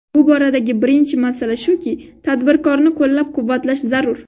Bu boradagi birinchi masala shuki, tadbirkorni qo‘llab-quvvatlash zarur.